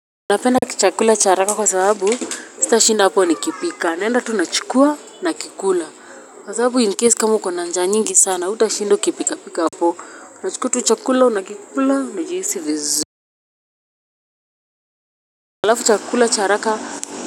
Napenda chakula cha haraka kwa sababu sitashinda hapo nikipika naenda tu nachukua nakikula kwa sababu incase kama uko na njaa nyingi sana hutashinda ukipika pika hapo utachukua tu chakula unakikula unajihisi vizuri alafu chakula cha haraka.